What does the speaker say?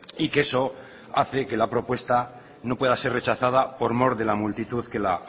y que eso hace que la propuesta no pueda ser rechazada por mor de la multitud que la